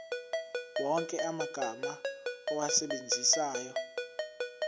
wonke amagama owasebenzisayo